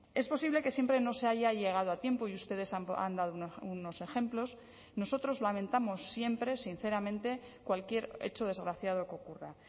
es posible que siempre no se haya llegado a tiempo y ustedes han dado unos ejemplos nosotros lamentamos siempre sinceramente cualquier hecho desgraciado que ocurra